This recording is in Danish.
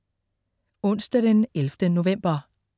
Onsdag den 11. november